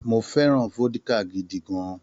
Mo fẹ́ràn vódíkà gidi gan-an.